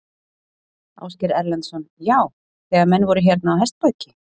Ásgeir Erlendsson: Já, þegar menn voru hérna á hestbaki?